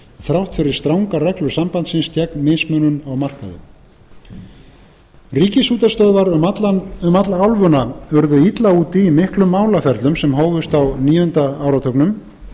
þrátt fyrir strangar reglur sambandsins gegn mismunun á markaði ríkisútvarpsstöðvar um alla álfuna urðu illa úti í miklum málaferlum sem hófust á níunda áratugnum